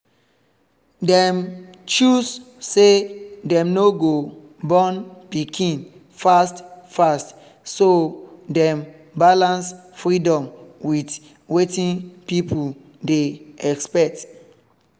dem choose say dem no go born pikin fast fast so dem balance freedom with wetin people dey expect